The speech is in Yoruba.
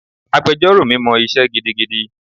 Agbẹjọ́rò mi mọ isé gidigidi.